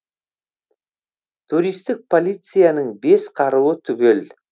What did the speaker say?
туристік полицияның бес қаруы түгел